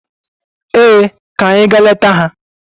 Ee, ka anyị gaa leta ha.